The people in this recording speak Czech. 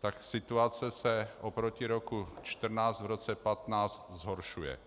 tak situace se oproti roku 2014 v roce 2015 zhoršuje.